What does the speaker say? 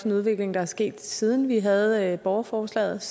en udvikling der er sket siden vi havde borgerforslaget